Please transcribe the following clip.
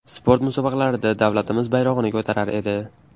Sport musobaqalarida davlatimiz bayrog‘ini ko‘tarar edi.